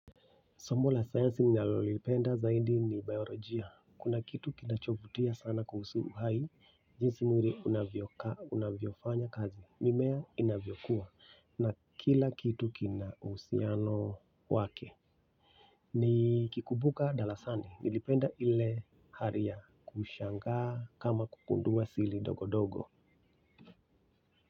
Somo la sayansi nalolipenda zaidi ni biolojia. Kuna kitu kinachovutia sana kuhusu uhai. Kuhusu mwili inavyofanya kazi mimea inavyokuwa na kila kitu kina uhusiano wake. Ni kikumbuka darasani. Nilipenda ile hali ya kushanga kama kugundua asili dogo dogo.